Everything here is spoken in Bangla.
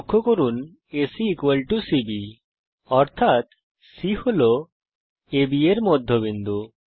লক্ষ্য করুন যে এসি সিবি অর্থাত C AB এর মধ্যবিন্দু